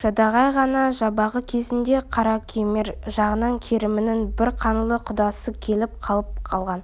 жадағай ғана жабағы кезінде қаракемер жағынан керімнің бір қаңлы құдасы келіп қалап алған